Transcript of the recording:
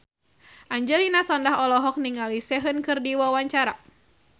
Angelina Sondakh olohok ningali Sehun keur diwawancara